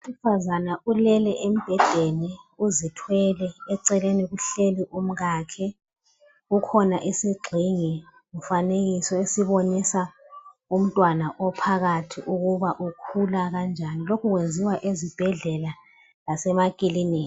Owesifazane ulele embhedeni uzithwele eceleni kuhleli umkakhe. Kukhona isigxingi mfanekiso esibonisa umntwana ophakathi ukuba ukhula kanjani. Lokhu kwenziwa ezibhedlela lasemakilinika.